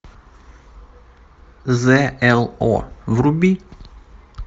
з л о вруби